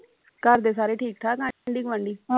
ਘਰ ਦੇ ਸਾਰੇ ਠੀਕ ਠਾਕ ਆਂਢੀ ਗੁਆਂਢੀ